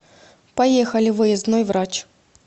поехали выездной врач